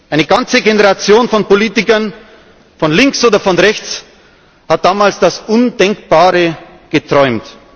Eine ganze Generation von Politikern, von links oder von rechts, hat damals das Undenkbare geträumt.